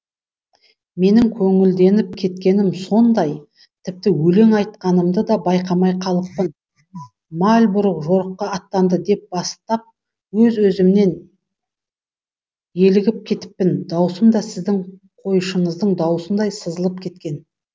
менің көңілденіп кеткенім сондай тіпті өлең айтқанымды да байқамай қалыппын мальбрук жорыққа аттанды деп бастап өз өзімнен елігіп кетіппін даусым да сіздің қойшыңыздың даусындай сызылып кеткен